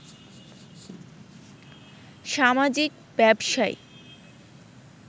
সামাজিক ব্যবসায়